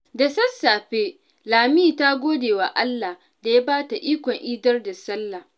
Da sassafe, Lami ta gode wa Allah da ya ba ta ikon idar da sallah.